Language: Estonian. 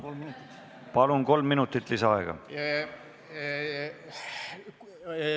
Palun, kolm minutit lisaaaega!